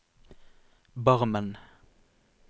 Barmen